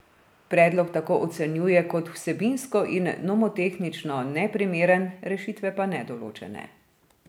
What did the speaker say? Predlog tako ocenjuje kot vsebinsko in nomotehnično neprimeren, rešitve pa nedoločne.